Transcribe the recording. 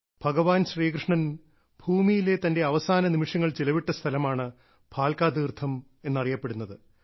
ഭഗവാൻ ശ്രീകൃഷ്ണൻ ഭൂമിയിലെ തന്റെ അവസാന നിമിഷങ്ങൾ ചിലവിട്ട സ്ഥലമാണ് ഭാൽകാ തീർത്ഥം എന്നറിയപ്പെടുന്നത്